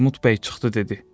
Armud bəy çıxdı dedi.